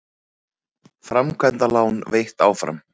Framkvæmdalán veitt áfram